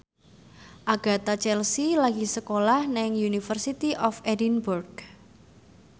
Agatha Chelsea lagi sekolah nang University of Edinburgh